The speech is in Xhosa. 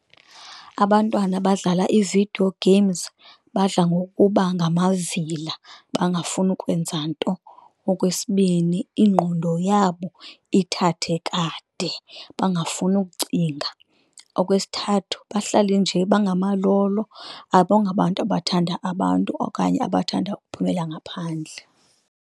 Abantwana badlala iividiyo games badla ngokuba ngamavila bangafuni ukwenza nto. Okwesibini, ingqondo yabo ithathe kade bangafuni ukucinga. Okwesithathu, bahlale nje bangamalolo abongabantu abathanda abantu okanye abathanda uphumela ngaphandle.